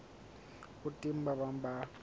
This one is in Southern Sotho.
ho teng ba bang ba